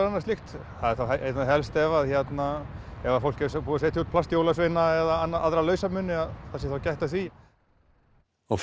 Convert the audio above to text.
annað slíkt það er þá einna helst ef að hérna ef fólk er búið að setja út plastjólasveina eða aðra lausamuni að það sé þá gætt að því og